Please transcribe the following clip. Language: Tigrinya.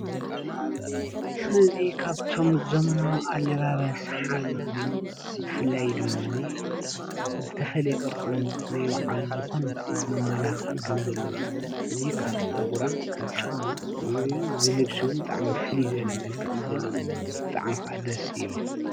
እዚ ካብቶም ዘመናዊ ኣለባብሳ ሓደ ኮይኑ ብፍላይ ድማኒ ዝተፈለየ ቅርፅን ናይ ባዕሉ ዝኮነ መመላክዕን ከም ዘለዎ እዚ ካብ ፀጉራ ካብ ጫማኣ እዚ ልብሲ እውን ብጣዕሚ ፍልይ ዝበለ መልክዕ ዘለዎ እዩ፡፡ ብጣዕሚ ከዓ ደስ ይብል፡፡